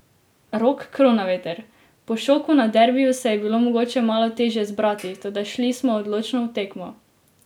Rok Kronaveter: "Po šoku na derbiju se je bilo mogoče malo težje zbrati, toda šli smo odločno v tekmo.